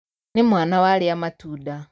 Nĩmwana warĩa matunda.